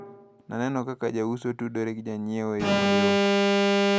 Naneno kaka jouso tudre gi jonyiewo e yo mayot.